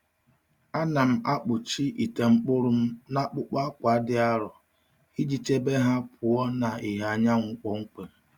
Ana m akpuchi ite mkpụrụ m n’akpụkpọ akwa dị arọ iji chebe ha pụọ na ìhè anyanwụ kpọmkwem.